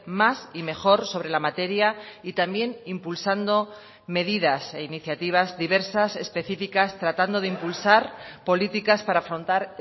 más y mejor sobre la materia y también impulsando medidas e iniciativas diversas especificas tratando de impulsar políticas para afrontar